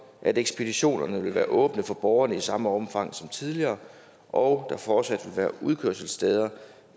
at ekspeditionerne vil være åbne for borgerne i samme omfang som tidligere og at der fortsat vil være udkørselssteder